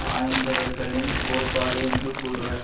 ஆய்ந்தவர்களின் கோட்பாடு என்று கூறுவர்